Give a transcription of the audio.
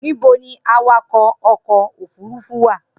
Nibo ni awakọ ọkọ ofurufu wa?